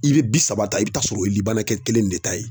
I bɛ bi saba ta i bɛ t'a sɔrɔ o ye kɛ kelen de ta ye